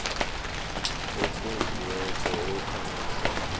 okhonjiweko okhambisa kuhle